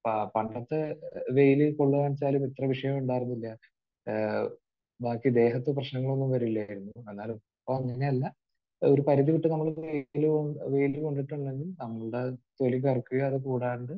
പ...പണ്ടത്തെ വെയിൽ കൊള്ളുക എന്ന് വെച്ചാൽ ഇത്രയും വിഷയം ഉണ്ടായിരുന്നില്ല. ഏഹ് ബാക്കി ദേഹത്ത് പ്രശ്നങ്ങളൊന്നും വരില്ലായിരുന്നു. എന്നാൽ ഇപ്പോൾ അങ്ങനെയല്ല. ഒരു പരുതി വിട്ട് നമ്മുടെ ദേഹത്ത് വെയിൽ കൊണ്ടിട്ടുണ്ടെങ്കിൽ നമ്മുടെ തൊലി കറുക്കുകയും അത് കൂടാതെ